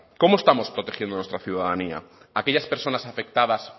cómo estamos protegiendo a nuestra ciudadanía a aquellas personas afectadas